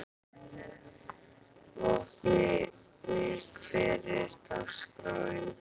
Vopni, hvernig er dagskráin?